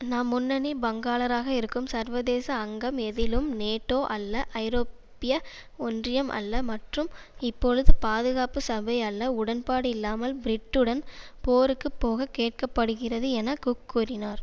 நாம் முன்னணி பங்காளராக இருக்கும் சர்வதேச அங்கம் எதிலும் நேட்டோ அல்ல ஐரோப்பிய ஒன்றியம் அல்ல மற்றும் இப்பொழுது பாதுகாப்பு சபை அல்ல உடன்பாடு இல்லாமல் பிரிட்டுடன் போருக்கு போக கேட்க படுகிறது என குக் கூறினார்